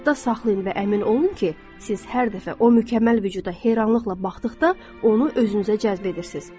Yadda saxlayın və əmin olun ki, siz hər dəfə o mükəmməl vücuda heyranlıqla baxdıqda onu özünüzə cəzb edirsiniz.